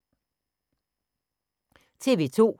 TV 2